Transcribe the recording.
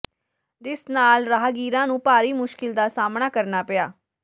ਜਿਸ ਨਾਲ ਰਾਹਗੀਰਾਂ ਨੂੰ ਭਾਰੀ ਮੁਸ਼ਕਲ ਦਾ ਸਾਹਮਣਾ ਕਰਨਾ ਪਿਆ